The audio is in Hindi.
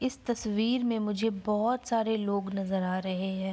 इस तस्वीर में मुझे बोहोत सारे लोग नजर आ रहे हैं।